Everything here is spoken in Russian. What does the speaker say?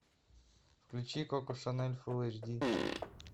включи коко шанель фул эйч ди